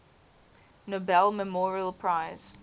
nobel memorial prize